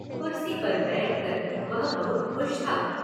कुर्सी पर बैठकर वह बहुत खुश था।